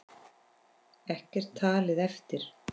Ekkert talið eftir.